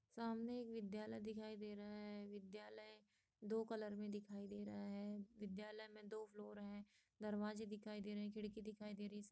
सामने एक विद्यालय दिखाई दे रहा है विद्यालय दो कलर में दिखाई दे रहा है विद्यालय मे दो फ्लोर है दरवाजे दिखाई दे रहे हैं खिड़की दिखाई दे रही है।